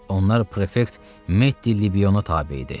Onlar prefekt Metdi Libiyona tabe idi.